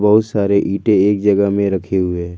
बहुत सारे ईंटे एक जगह में रखे हुए है।